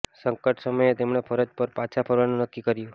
સંકટ સમયે તેમણે ફરજ પર પાછા ફરવાનું નક્કી કર્યું